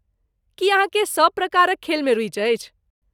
की अहाँकेँ सब प्रकारक खेलमे रुचि अछि?